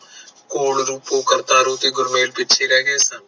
ਰੂਪੋ, ਕਰਤਾਰੋ ਤੇ ਗੁਰਮੇਲ ਪਿੱਛੇ ਰਹਿ ਗਏ ਸਨ